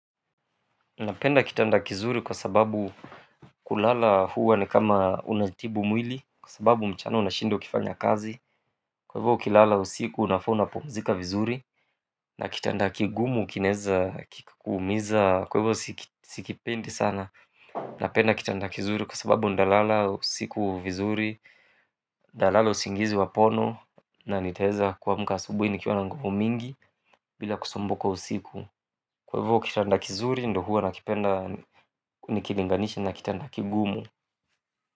Napenda kitanda kizuri kwa sababu kulala huwa ni kama unajitibu mwili kwa sababu mchana unashinda ukifanya kazi kwa hivyo ukilala usiku unafaa unapumzika vizuri na kitanda kigumu kinaweza kikakuumiza kwa hivyo sikipendi sana napenda kitanda kizuri kwa sababu ndalala usiku vizuri. Nitalala usingizi wa pono na nitaweza kuamka asubuhi nikiwa na nguvu mingi bila kusumbuka usiku kwa hivyo kitanda kizuri ndio huwa nakipenda nikilinganisha na kitanda kigumu.